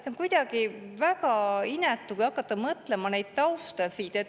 See on kuidagi väga inetu, kui hakata mõtlema sellele taustale.